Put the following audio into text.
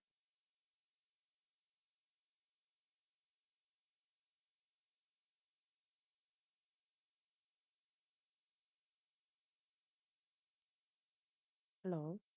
hello